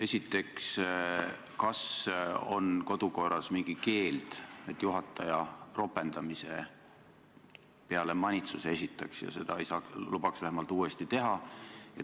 Esiteks, kas kodukorras on mingi keeld, et juhataja ropendamise peale manitsuse esitaks, vähemalt ei lubaks seda uuesti teha?